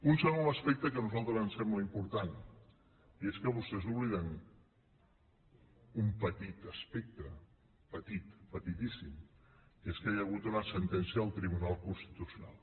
un segon aspecte que a nosaltres ens sembla important és que vostès obliden un petit aspecte petit petitíssim que és que hi ha hagut una sentència del tribunal constitucional